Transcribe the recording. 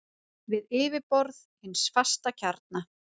við yfirborð hins fasta kjarna.